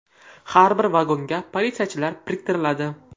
Har bir vagonga politsiyachilar biriktiriladi.